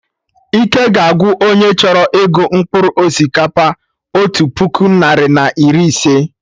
Ike ga agwụ onye chọrọ ịgụ mkpụrụ osikapa otu puku, narị na iri ise